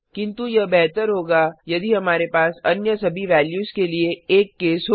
किन्तु यह बेहतर होगा यदि हमारे पास अन्य सभी वैल्यूज के लिए एक केस हो